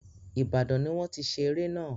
Ìbàdàn ni wọ́n ti ṣe eré náà.